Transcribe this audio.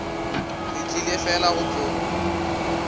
re tlile fela go tlo